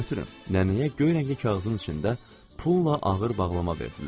Nənəyə göy rəngli kağızın içində puldan ağır bağlama verdilər.